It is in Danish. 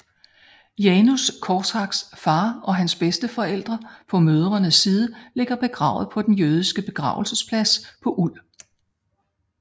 Janusz Korczaks far og hans bedsteforældre på mødrene side ligger begravet på den jødiske begravelsesplads på ul